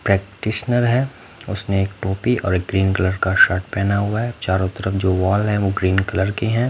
Practitioner है उसने एक टोपी और ग्रीन कलर का शर्ट पहना हुआ है चारों तरफ जो वॉल है वो ग्रीन कलर के हैं।